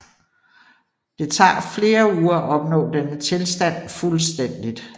Det tager flere uger at opnå denne tilstand fuldstændigt